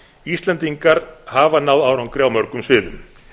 íslendingar hafa náð árangri á mörgum sviðum